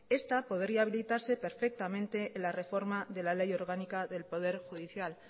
esta podría habilitarse perfectamente en la reforma de la ley orgánica del poder judicial